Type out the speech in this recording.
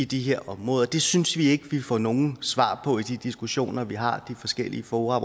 de her områder det synes vi ikke vi får nogle svar på i de diskussioner vi har i de forskellige fora